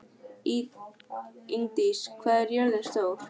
Ingdís, hvað er jörðin stór?